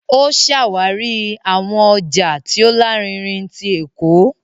O ṣawari awọn ọja ti o larinrin tí Ékò